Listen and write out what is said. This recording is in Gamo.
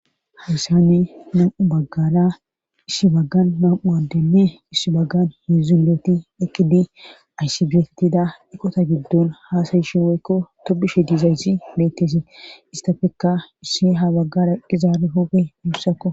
hayssane nam7u baggara issi baggan nam7u adenne iss baggan heedzdzu indooti uttidi assi bettida utto giddon haasayishen woykko tobishe dizaysi bettessi issitappekka issi ha baggara eqqiza hophphe guussakko.